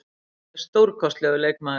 Hann er stórkostlegur leikmaður.